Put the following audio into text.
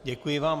Děkuji vám.